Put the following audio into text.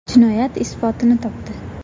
Jinoyat isbotini topdi.